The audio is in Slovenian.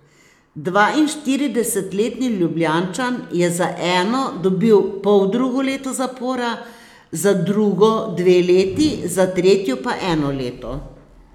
Dvainštiridesetletni Ljubljančan je za eno dobil poldrugo leto zapora, za drugo dve leti, za tretjo pa eno leto.